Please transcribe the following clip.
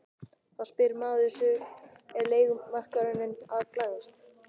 Þá spyr maður sig er leigumarkaðurinn að glæðast?